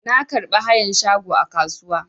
Na karɓi hayan shago a kasuwa.